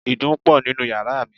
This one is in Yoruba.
Ìdun pọ̀ nínú yàrá mi.